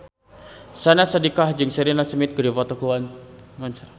Syahnaz Sadiqah jeung Sheridan Smith keur dipoto ku wartawan